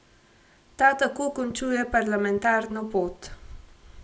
Ta tako končuje parlamentarno pot.